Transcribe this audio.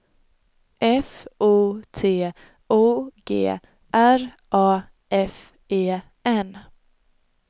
F O T O G R A F E N